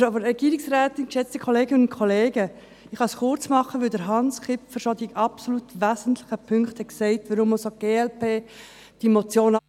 Ich kann es kurz machen, da Grossrat Kipfer bereits die wesentlichen Punkte genannt hat, weshalb auch die glp diese Motion ablehnt.